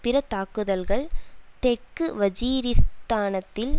பிற தாக்குதல்கள் தெற்கு வஜீரிஸ்தானத்தில்